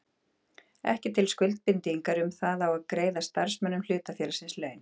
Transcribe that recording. ekki til skuldbindingar um það að greiða starfsmönnum hlutafélagsins laun.